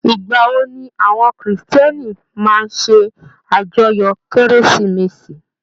Igbawo ni àwọn kírísítẹ́nì máa n se ajọ́yọ kérésìmesì?